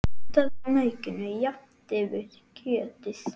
Nuddaðu maukinu jafnt yfir kjötið.